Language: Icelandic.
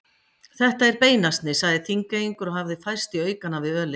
Þetta er beinasni, sagði Þingeyingur og hafði færst í aukana við ölið.